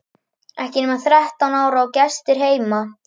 Ekki nema þrettán ára og gestir heima!